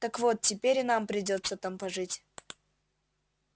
так вот теперь и нам придётся там пожить